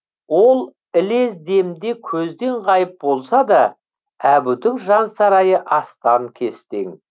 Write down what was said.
ол ілез демде көзден ғайып болса да әбудің жансарайы астан кестең